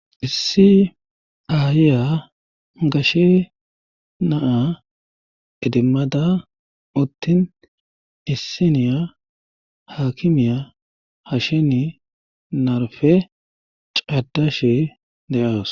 Issi aayiya gashe naa'a edimada uttin issiniyaa haakkimiya hashsheni narfee cadashe de'awusu.